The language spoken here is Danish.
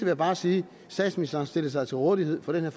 jeg bare sige statsministeren stillede sig til rådighed for den her